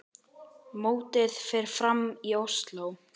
Mótið fer fram í Ósló.